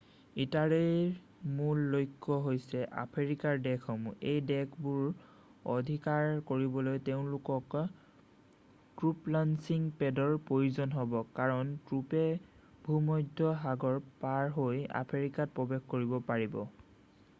ইটালীৰ মূল লক্ষ্য হৈছে আফ্ৰিকাৰ দেশসমূহ এই দেশবোৰ অধিকাৰ কৰিবলৈ তেওঁলোকক ট্ৰুপ লঞ্চিং পেডৰ প্ৰয়োজন হ'ব কাৰণ ট্ৰুপে ভূমধ্য সাগৰ পাৰহৈ আফ্ৰিকাত প্ৰৱেশ কৰিব পাৰিব